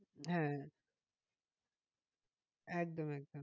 হ্যাঁ একদম একদম।